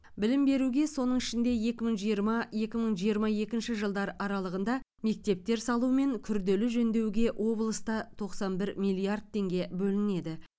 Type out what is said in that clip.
білім беруге соның ішінде екі мың жиырма екі мың жиырма екінші жылдар аралығында мектептер салу мен күрделі жөндеуге облыста тоқсан бір миллиард теңге бөлінеді